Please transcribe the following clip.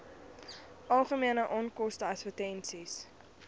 algemene onkoste advertensies